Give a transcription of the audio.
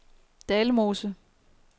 Dalmose